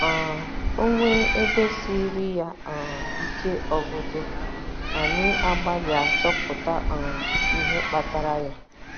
um O nwee ebe siiri ya um ike ọgụgụ, anyị agbalịa chọpụta um ihe kpatara ya.